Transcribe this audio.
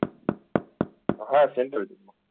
હા central team ની